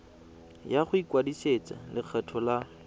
ya go ikwadisetsa lekgetho la